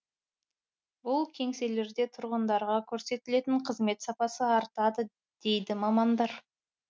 бұл кеңселерде тұрғындарға көрсетілетін қызмет сапасы артады дейді мамандар